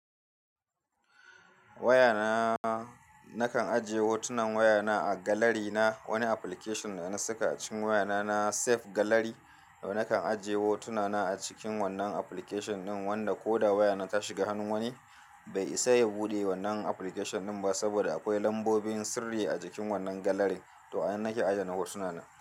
Wayana, nakan ajiye hotunan wayana a gallery na wani application da na saka a cikin wayana na safe gallery. Nakan ajiye hotuna na a cikin wannan application din wanda ko da wayana ta shiga hannun wani, bai isa ya buɗe wannan application din ba saboda akwai lambobin sirri a cikin wannan gallery. To, an nake adana hotuna na.